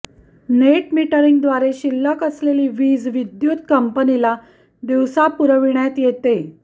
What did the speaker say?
net मिटरींगद्वारे शिल्लक असलेली वीज विद्युत कंपनीला दिवसा पुरविण्यात येते